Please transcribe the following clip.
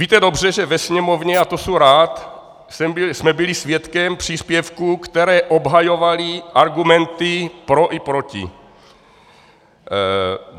Víte dobře, že ve Sněmovně, a to jsem rád, jsme byli svědky příspěvků, které obhajovaly argumenty pro i proti.